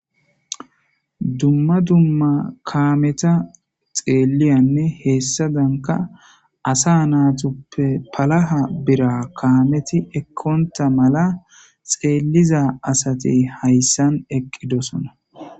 Dumma dumma kaameta xeeliyanne heessadanka asa naatoppe palaha bira kaameti ekkonta mala xeelliza asate hayssan eqqidosona.